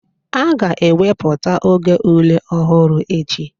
A ga-ewepụta oge ule ọhụrụ echi